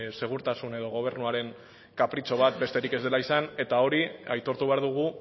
segurtasun edo gobernuaren kapritxo bat besterik ez dela izan eta hori aitortu behar dugu